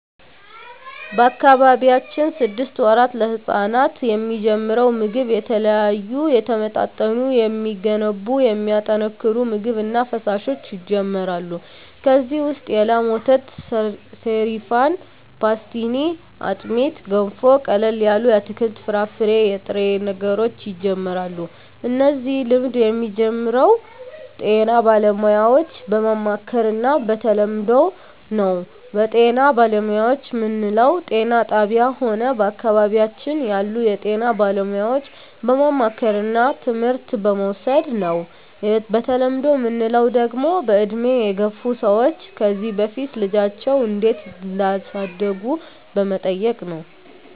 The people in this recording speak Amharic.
በአካባቢያችን ስድስት ወራት ለህጻናት የሚጀምረው ምግብ የተለያዩ የተመጣጠኑ የሚገነቡ የሚያጠናክሩ ምግብ እና ፈሣሾች ይጀመራሉ ከዚ ውሰጥ የላም ወተት ሰሪፋን ፓሥትኒ አጥሜት ገንፎ ቀለል ያሉ የአትክልት የፍራፍሬ የጥሬ ነገሮች ይጀምራሉ እነዚህ ልምድ የሚጀምረው ጤና ባለሙያዎች በማማከር እና በተለምዶው ነው በጤና ባለሙያዎች ምንለው ጤና ጣብያ ሆነ በአካባቢያችን ያሉ የጤና ባለሙያዎች በማማከርና ትምህርት በመዉሰድ ነው በተለምዶ ምንለው ደግሞ በእድሜ የገፍ ሰዎች ከዚ በፊት ልጃቸው እንዴት እዳሳደጉ በመጠየቅ ነው